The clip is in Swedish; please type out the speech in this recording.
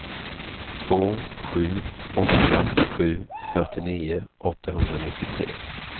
två sju åtta sju fyrtionio åttahundranittiotre